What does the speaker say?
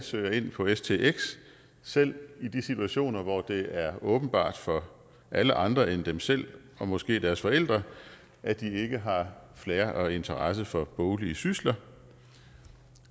søger ind på stx selv i de situationer hvor det er åbenbart for alle andre end dem selv og måske deres forældre at de ikke har flair og interesse for boglige sysler